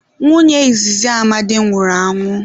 Nwunye izizi Amadi nwụrụ anwụ.